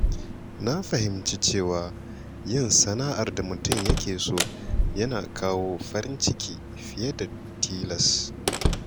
Na fahimci cewa yin sana'ar da mutum yake so yana kawo farin ciki fiye da ta tilas.